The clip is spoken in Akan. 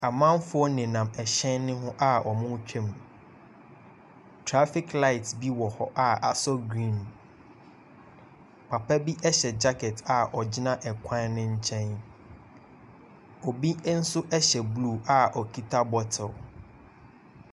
Amanfoɔ nenam ɛhyɛn no ho a wɔretwam. Trafiɔ light bi wɔ hɔ a asɔ green. Papa bi hyɛ gyakɛn gyina kwan no nkyɛn. Obi nso hyɛ blue a okita bottle.